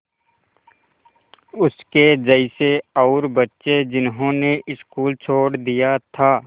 उसके जैसे और बच्चे जिन्होंने स्कूल छोड़ दिया था